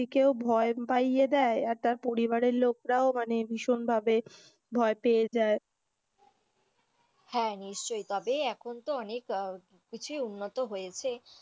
ব্যক্তিকেও ভয় পাইয়ে দেয় এবং তার পরিবার এর লোকরাও মানে ভীষণ ভাবে ভয় পেয়ে যায়, হ্যাঁ, নিশ্চই তবে এখন তো অনেক কিছুই উন্নত হয়েছে।